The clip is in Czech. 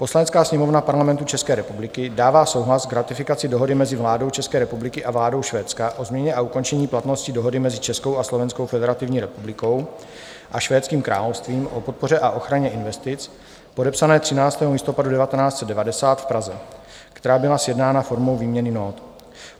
Poslanecká sněmovna Parlamentu České republiky dává souhlas k ratifikaci Dohody mezi vládou České republiky a vládou Švédska o změně a ukončení platnosti Dohody mezi Českou a Slovenskou Federativní republikou a Švédským královstvím o podpoře a ochraně investic, podepsané 13. listopadu 1990 v Praze, která byla sjednána formou výměny nót;